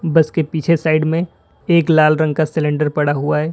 बस के पीछे साइड में एक लाल रंग का सिलेंडर पड़ा हुआ है।